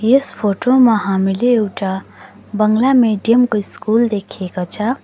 यस photo मा हामीले एउटा बंगला मिडियम को स्कुल देखिएको छ।